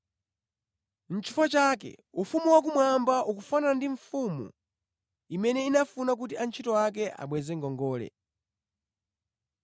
“Nʼchifukwa chake, ufumu wakumwamba ukufanana ndi mfumu imene inafuna kuti antchito ake abweze ngongole.